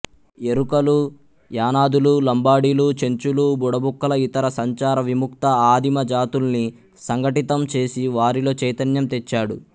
ఎరుకలు యానాదులు లంబాడీలు చెంచులు బుడబుక్కల ఇతర సంచార విముక్త ఆదిమ జాతుల్ని సంఘటితంచేసి వారిలో చైతన్యం తెచ్చాడు